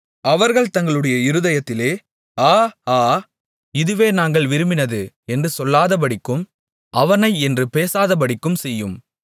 அவர்கள் தங்களுடைய இருதயத்திலே ஆ ஆ இதுவே நாங்கள் விரும்பினது என்று சொல்லாதபடிக்கும் அவனை என்று பேசாதபடிக்கும் செய்யும்